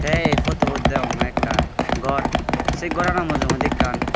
te ei futubot degonge ekkan gor se gorano mujungedi ekkan.